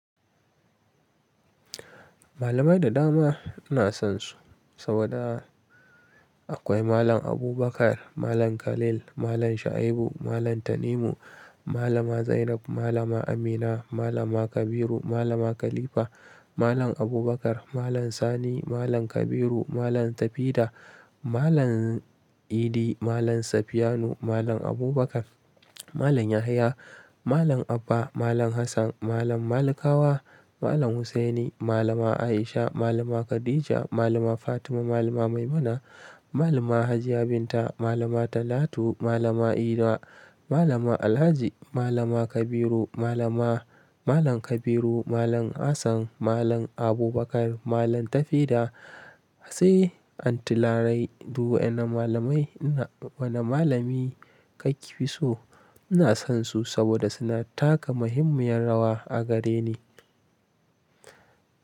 Malamai da dama ina son su saboda akwai Malam Abubakar, Malam Khalil, Malam Shaibu, Malam Tanimu, Malama Zainab, Malama Amina, Malama Kabiru, Malama Khalifa, Malam Abubakar, Malam Sani, Malam Kabiru, Malam Tafida, Malam Idi, Malam Safiyanu, Malam Abubakar, Malam Yahaya, Malam Abba, Malam Hassan, Malam Malikawa, Malam Hussaini, Malama Aisha, Malama Khadija, Malama Fatima, Malama Maimuna, Malama Hajiya Binta, Malama Talatu, Malama Ida, Malama Alhaji, Malama Kabiru, Malama Malam Kabiru, Malam Hassan, Malam Abubakar, Malam Tafida. Sai Aunty Larai duk waen nan malamai in na Wani malami ka fi so? Ina son su saboda suna taka muhimmiyar rawa a gare ni.